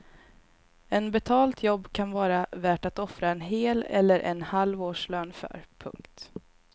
En betalt jobb kan vara värt att offra en hel eller en halv årslön för. punkt